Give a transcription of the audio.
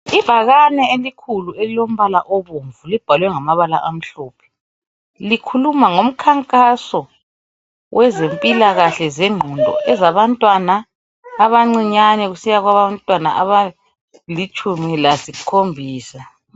ibhakane elikhulu elilombala obomvu libhalwe ngamabala amhlophe likhuluma ngomkhankaso wezempilakahle zengqondo ezabantwana abancinyane kusiya kwabantwana abalitshumi lasikhombisa